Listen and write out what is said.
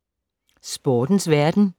Sportens verden